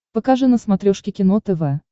покажи на смотрешке кино тв